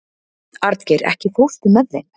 Arngeir, ekki fórstu með þeim?